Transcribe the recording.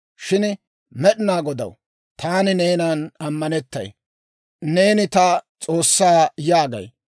Shin Med'inaa Godaw, taani neenan ammanettay, Neeni ta S'oossaa yaagay.